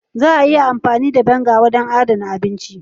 Ana iya amfani da " vinegar " ya wajen adana abinci.